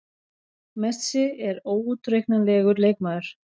Messi er óútreiknanlegur leikmaður.